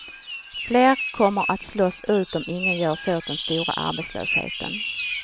Fler kommer att slås ut om inget görs åt den stora arbetslösheten.